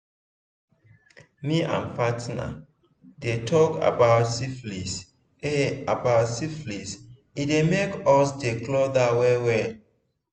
me and partner dey talk about syphilis e about syphilis e dey make us dey closer well well